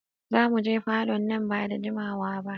Zamuje falo nan ba da jimawa ba.